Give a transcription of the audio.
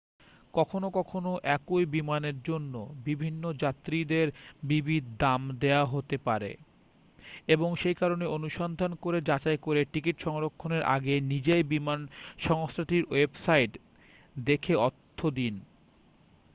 কখনও কখনও একই বিমানের জন্য বিভিন্ন যাত্রীদের বিবিধ দাম দেওয়া হতে পারে এবং সেই কারণে অনুসন্ধান করে যাচাই করে টিকিট সংরক্ষণের আগে নিজেই বিমান সংস্থাটির ওয়েবসাইট দেখে অর্থ দিন